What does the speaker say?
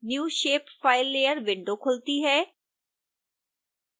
new shape file layer window खुलती है